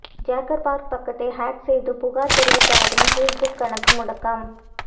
Zuckerberg பக்கத்தை hack செய்து புகார் தெரிவித்தவரின் ஃபேஸ்புக் கணக்கு முடக்கம்